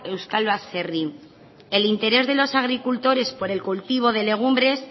euskal baserri el interés de los agricultores por el cultivo de legumbres